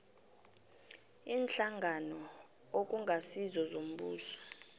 iinhlangano okungasizo zombuso